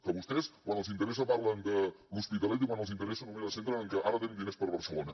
que vostès quan els interessa parlen de l’hospitalet i quan els interessa només es centren que ara tenim diners per a barcelona